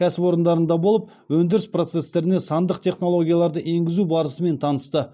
кәсіпорындарында болып өндіріс процестеріне сандық технологияларды енгізу барысымен танысты